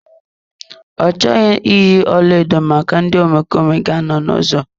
Ọ chọghị iyi ọlaedo maka ndị omekome ga anọ n'ụzọ.